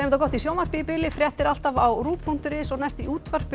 gott í sjónvarpi í bili fréttir alltaf á punktur is og næst í útvarpi